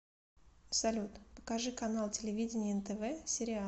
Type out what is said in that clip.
салют покажи канал телевидения нтв сериал